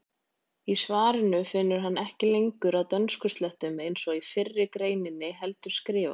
Í svarinu finnur hann ekki lengur að dönskuslettum eins og í fyrri greininni heldur skrifar: